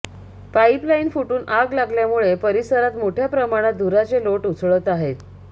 pipeline फुटून आग लागल्यामुळे परिसरात मोठ्या प्रमाणात धुराचे लोट उसळत आहेत